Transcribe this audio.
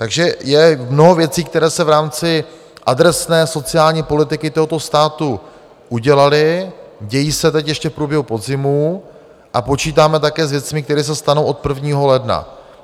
Takže je mnoho věcí, které se v rámci adresné sociální politiky tohoto státu udělaly, dějí se teď ještě v průběhu podzimu a počítáme také s věcmi, které se stanou od 1. ledna.